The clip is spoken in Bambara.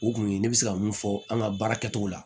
O kun ye ne bɛ se ka min fɔ an ka baara kɛcogo la